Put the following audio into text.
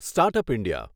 start up India